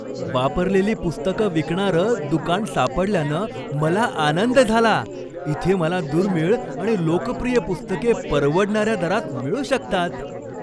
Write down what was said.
वापरलेली पुस्तकं विकणारं दुकान सापडल्यानं मला आनंद झाला. इथे मला दुर्मिळ आणि लोकप्रिय पुस्तके परवडणाऱ्या दरात मिळू शकतात.